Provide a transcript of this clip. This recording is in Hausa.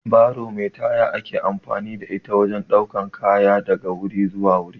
Baro mai taya ake amfani da ita wajen ɗaukar kaya daga wuri zuwa wuri